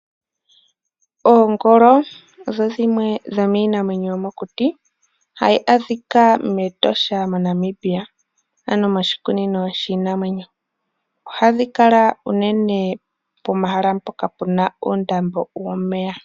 Oongolo odho dhimwe dhomiinamwenyo yomokuti, hayi adhika mEtosha moNamibia, ano moshikunino shiinamwenyo. Ohadhi kala unene pomahala mpoka pu na oondambo dhomeya.